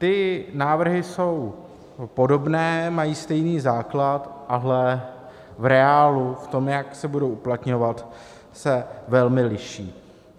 Ty návrhy jsou podobné, mají stejný základ, ale v reálu v tom, jak se budou uplatňovat, se velmi liší.